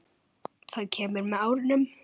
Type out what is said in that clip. Það kemur með árunum.